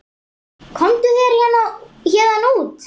Komdu þér héðan út.